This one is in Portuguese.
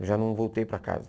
Eu já não voltei para casa.